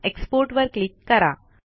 export वर click करा